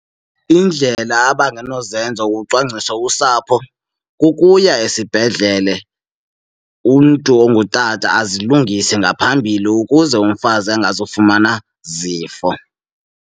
Iindlela abangenozenza ukucwangcisa usapho kukuya esibhedlele umntu ongutata azilungise ngaphambili ukuze umfazi angazufumana zifo.